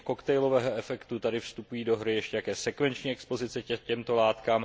Kromě koktejlového efektu tady vstupují do hry ještě také sekvenční expozice těmto látkám.